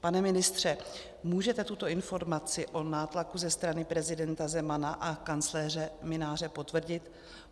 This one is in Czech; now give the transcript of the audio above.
Pane ministře, můžete tuto informaci o nátlaku ze strany prezidenta Zemana a kancléře Mynáře potvrdit?